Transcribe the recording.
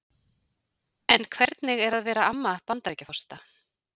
En hvernig er að vera amma Bandaríkjaforseta?